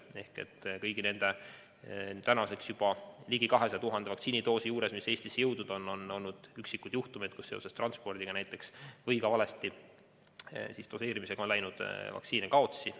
Ehk kõigi nende nüüdseks juba ligi 200 000 vaktsiinidoosi puhul, mis Eestisse on jõudnud, on olnud vaid üksikuid juhtumeid, kui näiteks seoses transpordiga või valesti doseerimise tõttu on läinud vaktsiini kaotsi.